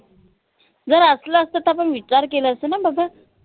जर असल असत त आपन विचार केलं असत न बाबा